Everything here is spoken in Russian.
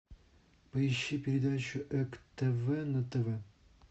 поищи передачу эк тв на тв